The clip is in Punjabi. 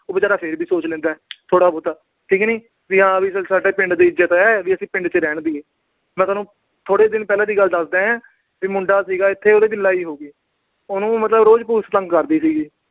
ਉਹ ਬੇਚਾਰਾ ਫਿਰ ਵੀ ਸੋਚ ਲੈਂਦਾ ਥੋੜਾ-ਬਹੁਤਾ। ਠੀਕ ਨੀ। ਵੀ ਹਾਂ ਚੱਲ ਸਾਡੀ ਪਿੰਡ ਦੀ ਇੱਜਤ ਆ, ਚੱਲ ਆਪਾ ਪਿੰਡ ਚ ਰਹਿਣ ਦਿਏ, ਮੈਂ ਤੁਹਾਨੂੰ ਥੋੜੇ ਦਿਨ ਪਹਿਲਾ ਦੀ ਗੱਲ ਦੱਸਦਾ। ਵੀ ਮੁੰਡਾ ਸੀਗਾ ਇੱਥੇ, ਉਹਦੇ ਚ ਲੜਾਈ ਹੋ ਗਈ। ਉਹਨੂੰ ਮਤਲਬ ਰੋਜ police ਤੰਗ ਕਰਦੀ ਸੀਗੀ।